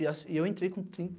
E as .Eu entrei com trinta